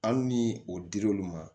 Hali ni o dir'olu ma